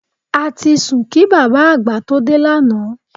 A ti sùn kí bàbá àgbà tó dé lánàá